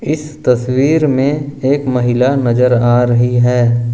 इस तस्वीर में एक महिला नजर आ रही है।